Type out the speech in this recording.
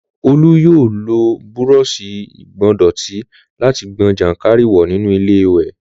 Olú yóò lo búrọọṣì ìgbọ̀ndọ̀tí láti gbọn jàǹkáríwọ̀ nínú iléwẹ̀